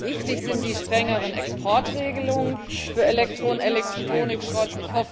Wichtig sind die strengeren Exportregelungen für Elektro und Elektronikschrott.